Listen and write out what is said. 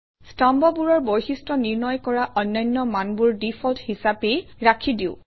স্তম্ভবোৰৰ বৈশিষ্ট্য নিৰ্ণয় কৰা অন্যান্য মানবোৰ ডিফল্ট হিচাপেই ৰাখি দিওঁ